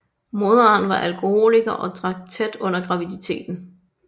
Moderen var alkoholiker og drak tæt under graviditeten